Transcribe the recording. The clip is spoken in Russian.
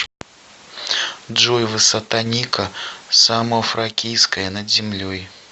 джой высота ника самофракийская над землей